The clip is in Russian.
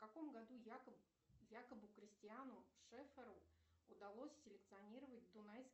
в каком году якобу кристиану шефферу удалось селекционировать дунайский